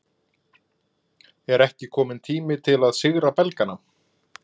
Er ekki kominn tími til að sigra Belgana?